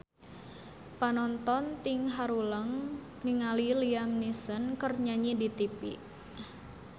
Panonton ting haruleng ningali Liam Neeson keur nyanyi di tipi